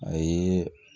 A ye